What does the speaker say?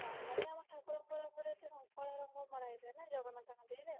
normally ଆମର ଠାକୁର ଙ୍କ ରଙ୍ଗ କଳା ରଙ୍ଗ ମରା ହେଇଥାଏ ନା ଜଗନ୍ନାଥ ଙ୍କ ଦେହରେ